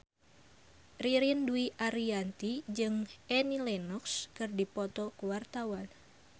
Ririn Dwi Ariyanti jeung Annie Lenox keur dipoto ku wartawan